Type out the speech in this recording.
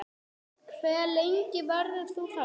Hve lengi verður þú þarna?